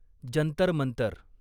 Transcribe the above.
Jantar Mantar